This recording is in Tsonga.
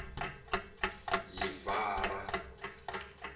livhara